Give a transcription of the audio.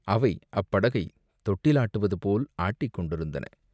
அவை அப்படகைத் தொட்டில் ஆட்டுவது போல் ஆட்டிக்கொண்டிருந்தன.